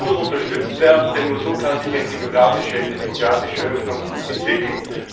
Dieses muss unterstützt werden, denn nur so kann sich eine demokratische Öffnung entwickeln.